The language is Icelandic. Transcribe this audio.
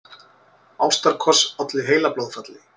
Ástarkoss olli heilablóðfalli